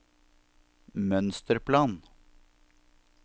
mønsterplan